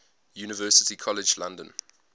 university college london